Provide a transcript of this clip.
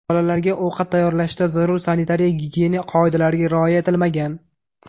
Bolalarga ovqat tayyorlashda zarur sanitariya-gigiyena qoidalariga rioya etilmagan.